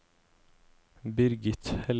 Birgit Helle